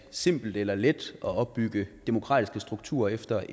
simpelt eller let at opbygge demokratiske strukturer efter